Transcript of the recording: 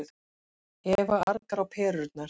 Eva argar á perurnar.